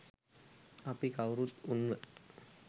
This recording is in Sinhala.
අපි කවුරුත් උන්ව